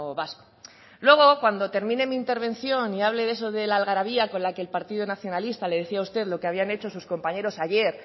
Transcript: vasco luego cuando termine mi intervención y hable de eso del algarabía con la que el partido nacionalista le decía a usted lo que habían hecho sus compañeros ayer